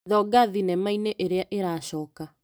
Thonga thinema-inĩ ĩrĩa ĩracoka .